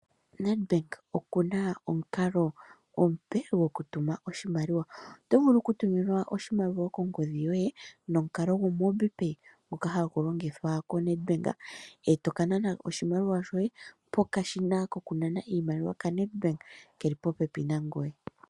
Nedbank oku na omukalo omupe gokutuma oshimaliwa. Oto vulu okutuminwa oshimaliwa kongodhi yoye nomukalo gumwe omupe ngoka hagu longithwa koNedbank, eto ka nana ko oshimaliwa shoye pokashina koku nana oshimaliwa kaNedbank keli popepi nangoye.